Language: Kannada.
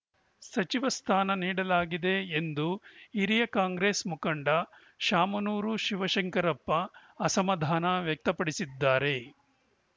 ಸಚಿವ ಸ್ಥಾನ ನೀಡಲಾಗಿದೆ ಎಂದು ಹಿರಿಯ ಕಾಂಗ್ರೆಸ್‌ ಮುಖಂಡ ಶಾಮನೂರು ಶಿವಶಂಕರಪ್ಪ ಅಸಮಾಧಾನ ವ್ಯಕ್ತಪಡಿಸಿದ್ದಾರೆ